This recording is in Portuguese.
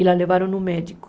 E a levaram ao médico.